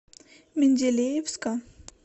менделеевска